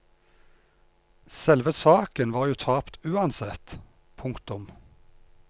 Selve saken var jo tapt uansett. punktum